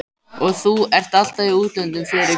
Og þú ert alltaf í útlöndum, Friðrik minn